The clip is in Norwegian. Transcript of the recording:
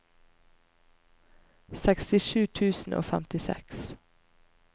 sekstisju tusen og femtiseks